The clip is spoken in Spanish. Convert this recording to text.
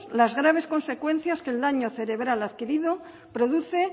las graves consecuencias que el daño cerebral adquirido produce